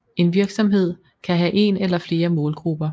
En virksomhed kan have en eller flere målgrupper